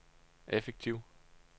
effektiv